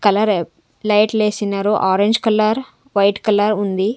కలరె లైట్లేసినారు orange colour white colour ఉంది.